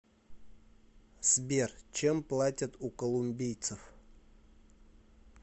сбер чем платят у колумбийцев